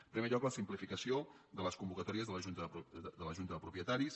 en primer lloc la simplificació de les convocatòries de la junta de propietaris